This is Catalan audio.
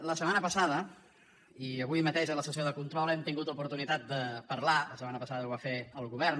la setmana passada i avui mateix a la sessió de control hem tingut oportunitat de parlar la setmana passada ho va fer el govern